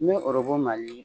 N me Mali